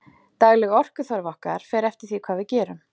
Dagleg orkuþörf okkar fer eftir því hvað við gerum.